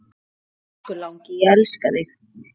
Elsku langi, ég elska þig.